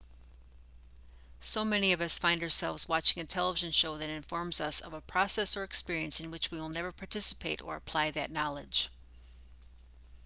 so many of us find ourselves watching a television show that informs us of a process or experience in which we will never participate or apply that knowledge